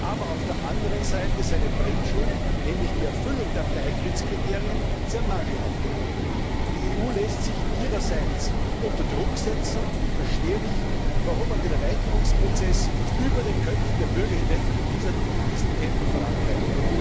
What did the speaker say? aber auf der anderen Seite seine Bringschuld nämlich die Erfüllung der Beitrittskriterien sehr mangelhaft erledigt. Die EU lässt sich ihrerseits unter Druck setzen, und ich verstehe nicht, warum man den Erweiterungsprozess über die Köpfe der Bürger hinweg in diesem Tempo vorantreibt.